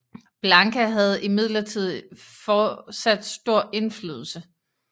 Blanka havde imidlertid fortsat stor indflydelse